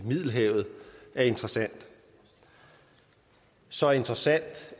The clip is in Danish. middelhavet er interessant så interessant